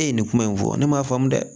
E ye nin kuma in fɔ ne m'a faamu dɛ